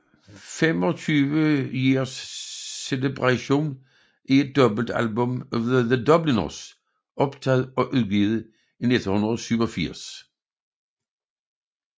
25 Years Celebration er et dobbeltalbum af The Dubliners optaget og udgivet i 1987